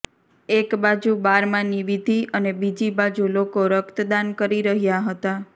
એક બાજુ બારમાની વિધિ અને બીજી બાજુ લોકો રક્તદાન કરી રહ્યા હતા